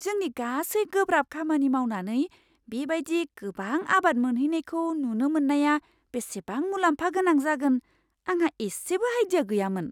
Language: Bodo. जोंनि गासै गोब्राब खामानि मावनानै बे बायदि गोबां आबाद मोनहैनायखौ नुनो मोन्नाया बेसेबां मुलाम्फा गोनां जागोन आंहा इसेबो आइडिया गैयामोन।